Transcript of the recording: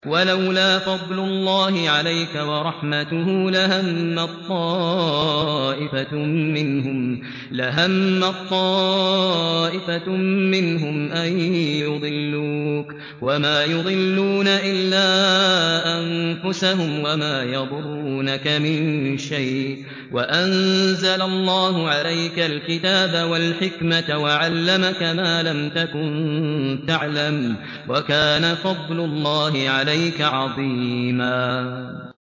وَلَوْلَا فَضْلُ اللَّهِ عَلَيْكَ وَرَحْمَتُهُ لَهَمَّت طَّائِفَةٌ مِّنْهُمْ أَن يُضِلُّوكَ وَمَا يُضِلُّونَ إِلَّا أَنفُسَهُمْ ۖ وَمَا يَضُرُّونَكَ مِن شَيْءٍ ۚ وَأَنزَلَ اللَّهُ عَلَيْكَ الْكِتَابَ وَالْحِكْمَةَ وَعَلَّمَكَ مَا لَمْ تَكُن تَعْلَمُ ۚ وَكَانَ فَضْلُ اللَّهِ عَلَيْكَ عَظِيمًا